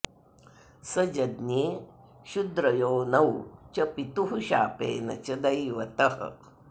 स जज्ञे शुद्रयोनौ च पितुः शापेन च दैवतः